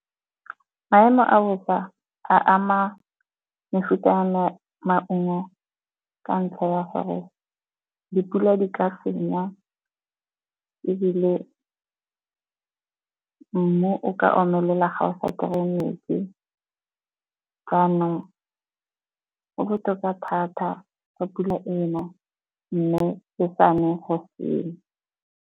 Maemo a bosa a ama mefuta ya maungo ka ntlha ya gore dipula di ka senya, ebile mmu o ka omelela ga o sa kry-e metsi. Jaanong go botoka thata fa pula ena mme e sa ne go senya.